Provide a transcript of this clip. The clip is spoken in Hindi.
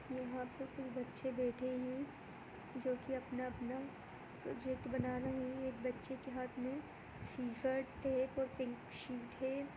यहाँ पे कुछ बच्चे बैठे है जो की अपना-अपना प्रोजेक्ट बना रहे है एक बच्चे के हाथ में सिजर टेप और पिंक शीट है।